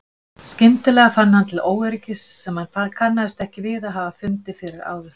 Skyndilega fann hann til óöryggis sem hann kannaðist ekki við að hafa fundið fyrir áður.